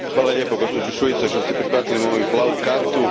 Hvala lijepo, gospođo Šuica što ste prihvatili moju plavu kartu.